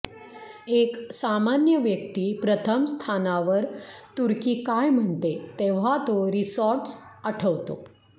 एक सामान्य व्यक्ती प्रथम स्थानावर तुर्की काय म्हणते तेव्हा तो रिसॉर्ट्स आठवतो